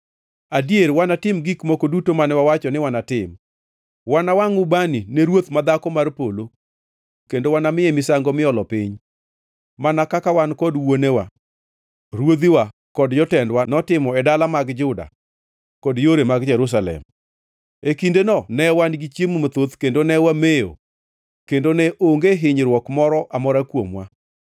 Adier wanatim gik moko duto mane wawacho ni wanatim: Wanawangʼ ubani ne Ruoth ma Dhako mar Polo kendo wanamiye misango miolo piny mana kaka wan kod wuonewa, ruodhiwa kod jotendwa notimo e dala mag Juda kod yore mag Jerusalem. E kindeno ne wan gi chiemo mathoth kendo ne wamewo kendo ne onge hinyruok moro amora kuomwa.